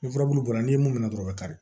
Ni furabulu bɔra n'i ye mun minɛ dɔrɔn a bi kari